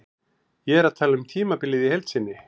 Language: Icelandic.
Ég er að tala um tímabilið í heild sinni.